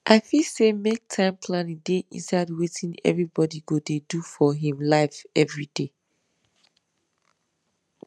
i feel say make time planning dey inside wetin everybody go dey do for him life every day